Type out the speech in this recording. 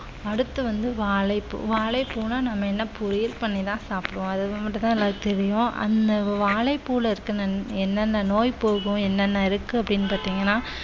அடுத்து வந்து வாழைப்பூ வாழைப்பூன்னா நம்ம என்ன பொரியல் பண்ணிதான் சாப்பிடுவோம் அது மட்டும்தான் எல்லாருக்கும் தெரியும் அந்த வாழைப்பூவுல என்னென்ன நோய் போகும் என்னென்ன இருக்கு அப்படின்னு பார்த்தீங்கன்னா